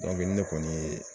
nin ne kɔni ye